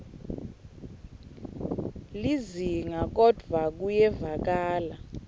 lizinga kodvwa kuyevakala